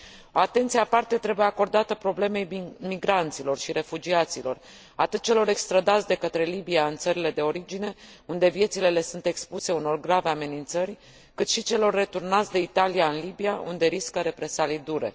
O atenție aparte trebuie acordată problemei migranților și refugiaților, atât celor extrădați de către Libia în țările de origine, unde viețile le sunt expuse unor grave amenințări, cât și celor returnați de Italia în Libia, unde riscă represalii dure.